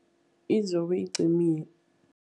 Izobe iqinile.